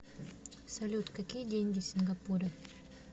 салют какие деньги в сингапуре